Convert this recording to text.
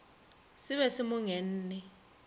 se be se mo ngenne